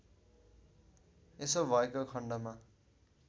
यसो भएको खण्डमा